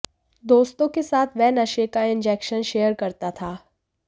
दोस्तों के साथ वह नशे का इंजेक्शन शेयर करता था